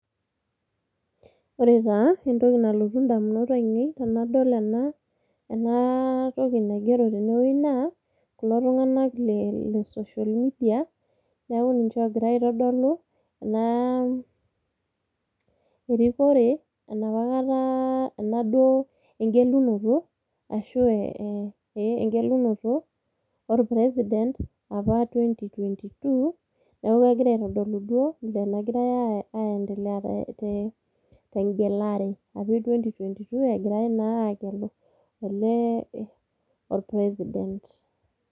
Ore taa entoki nalotu indamunot ainei tenadol ena enatoki naigero tenwuei naa kulo tung'anak le social media neeku ninche oogira aitodolu naa erikore enapa kata enaduo engelunoto o president apa 2022 neeku egirai aitodolu duo nagigirai aiendelea tengelare e 2022 egirai naa aagelu ele o president.